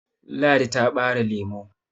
ladi ta bare lemo